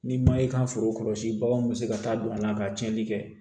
Ni ma i ka foro kɔlɔsi baganw bi se ka taa don a la ka tiɲɛni kɛ